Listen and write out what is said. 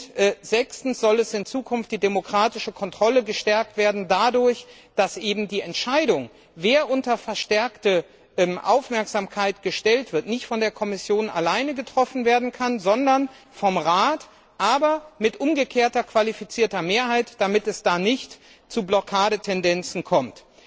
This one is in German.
Und fünftens soll die demokratische Kontrolle in Zukunft gestärkt werden, indem die Entscheidung, wer unter verstärkte Aufmerksamkeit gestellt wird, nicht von der Kommission allein getroffen werden kann, sondern vom Rat, aber mit umgekehrter qualifizierter Mehrheit, damit es nicht zu Blockadetendenzen kommt.